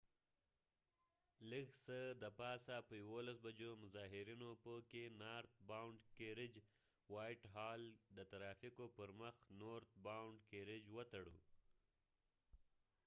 لږ څه د پاسه په 11:00 بجو مظاهرېنو په وایټ هال white hall کې نارت باوڼډ کېرج north bound carriage د ترافیکو پر مخ وتړه